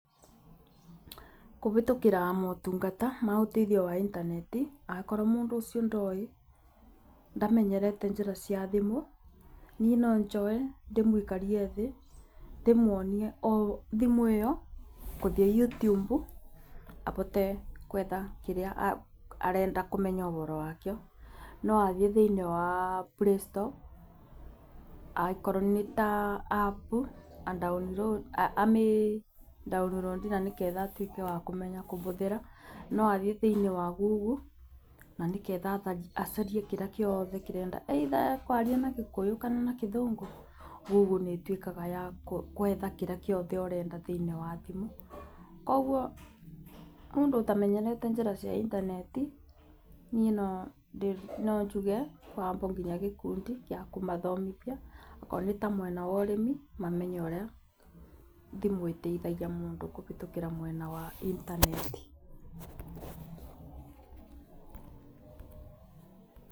Kũhĩtũkĩra motungata ma ũteithio wa intaneti, akorwo mũndũ ũcio ndoĩ ndamenyerete njĩra cia thimũ, niĩ no njoe ndĩmũikarie thĩ, ndĩmuonie o thimũ ĩyo gũthiĩ YouTube, ahote gũetha kĩrĩa arenda kũmenya ũhoro wakĩo. No athiĩ thĩinĩ wa Playstore, angĩkorwo nĩ ta App amĩ download na nĩgetha atuĩke wa kũmenya kũhũthĩra. No athiĩ thĩinĩ wa Google na nĩgetha acarie kĩrĩa giothe arenda either ekũaria na Gĩkũyũ kana na Gĩthũngũ, Google nĩ ĩtuĩkaga ya gwetha kĩrĩa gĩothe ũrenda thĩinĩ wa thimũ. Koguo mũndũ ũtamenyerete njĩra cia intaneti niĩ no njuge kwambwo nginya gĩkundi gĩa kũmathomithia. Okorwo nĩ ta mwena wa ũrĩmi mamenye ũrĩa thimũ ĩteithagia mũndũ kũhĩtũkĩra mwena wa intaneti.